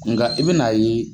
Nka i bina ye